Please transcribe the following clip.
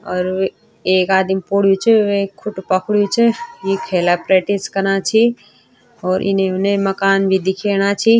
और एक आदिम पोडयूँ च वेक खुटु पकड़यूँ च ये खेला प्रैक्टिस कना छि और इने-उने मकान भी दिखेणा छी।